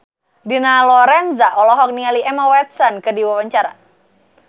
Dina Lorenza olohok ningali Emma Watson keur diwawancara